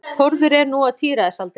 Þórður er nú á tíræðisaldri.